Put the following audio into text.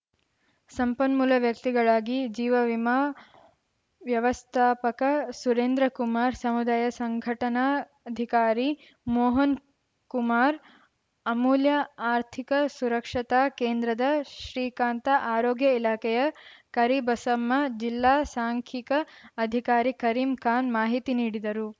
ಸಂಪನ್ಮೂಲ ವ್ಯಕ್ತಿಗಳಾಗಿ ಜೀವ ವಿಮಾ ವ್ಯವಸ್ಥಾಪಕ ಸುರೇಂದ್ರ ಕುಮಾರ ಸಮುದಾಯ ಸಂಘಟನಾಧಿಕಾರಿ ಮೋಹನ್‌ಕುಮಾರ್‌ ಅಮೂಲ್ಯ ಆರ್ಥಿಕ ಸುರಕ್ಷರತಾ ಕೇಂದ್ರದ ಶ್ರೀಕಾಂತ ಆರೋಗ್ಯ ಇಲಾಖೆಯ ಕರಿಬಸಮ್ಮ ಜಿಲ್ಲಾ ಸಾಂಖಿಕ ಅಧಿಕಾರಿ ಕರೀಂ ಖಾನ್‌ ಮಾಹಿತಿ ನೀಡಿದರು